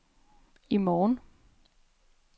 i morgen